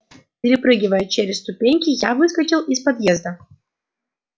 перепрыгивая через ступеньки я выскочил из подъезда